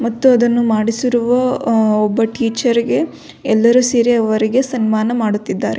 ಮತ್ತು ಅದನು ಮಾಡಿಸಿರುವ ಒಬ್ಬ ಟೀಚರಿಗೆ ಎಲ್ಲರು ಸೇರಿ ಅವರಿಗೆ ಸನ್ಮಾನ ಮಾಡುತ್ತಿದ್ದಾರೆ.